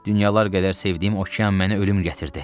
Dünyalar qədər sevdiyim okean mənə ölüm gətirdi.